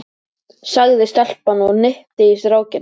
sagði stelpan og hnippti í strákinn.